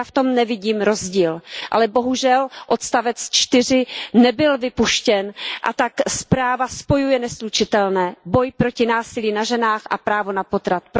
Já v tom nevidím rozdíl, ale bohužel odstavec čtyři nebyl vypuštěn a tak zpráva spojuje neslučitelné, boj proti násilí na ženách a právo na potrat.